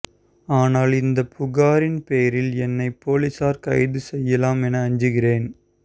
ஆனாலும் இந்த புகாரின் பேரில் என்னை போலீசார் கைது செய்யலாம் என அஞ்சுகிறேன்